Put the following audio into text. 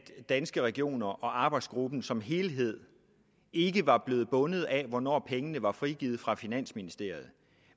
danske regioner og arbejdsgruppen som helhed ikke var blevet bundet af hvornår pengene var frigivet fra finansministeriet